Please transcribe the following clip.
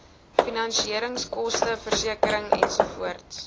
finansieringskoste versekering ensovoorts